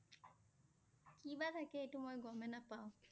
কি বা থাকে এইটো মই গম নাপাওঁ